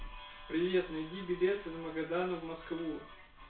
привет найди билет из магадана в москву